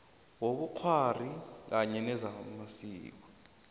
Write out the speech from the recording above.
wobukghwari kanye namasiko